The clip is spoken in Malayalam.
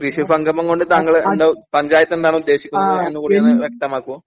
കൃഷി സംഗമം കൊണ്ട് താങ്കൾ എന്താണ് പഞ്ചായത്ത് എന്താണ് ഉദ്ദേശിക്കുന്നത് എന്നത് വ്യക്തമാക്കൂ